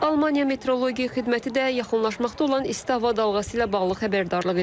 Almaniya Metereologiya Xidməti də yaxınlaşmaqda olan isti hava dalğası ilə bağlı xəbərdarlıq edib.